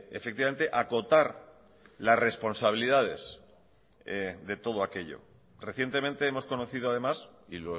efectivamente acotar las responsabilidades de todo aquello recientemente hemos conocido además y